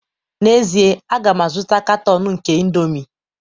N'ezie, a ga m azụta katọn nke indomie